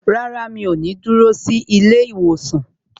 Rárá, mi ò ní dúró sí ilé ìwòsàn